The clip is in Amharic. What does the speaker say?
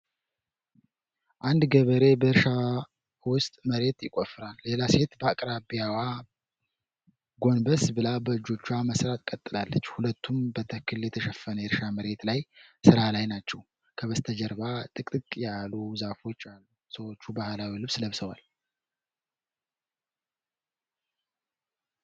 አንድ ገበሬ በእርሻ ውስጥ መሬት ይቆፍራል። ሌላ ሴት በአቅራቢያዋ በጎንበስ ብላ በእጆቿ መሥራት ቀጥላለች። ሁለቱም በተክል የተሸፈነ የእርሻ መሬት ላይ ሥራ ላይ ናቸው። ከበስተጀርባ ጥቅጥቅ ያሉ ዛፎች አሉ። ሰዎች ባህላዊ ልብስ ለብሰዋል።